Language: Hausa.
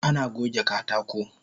Ana goge katako